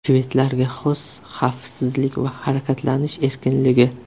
Shvedlarga xos xavfsizlik va harakatlanish erkinligi.